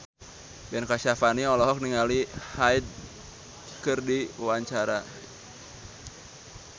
Ben Kasyafani olohok ningali Hyde keur diwawancara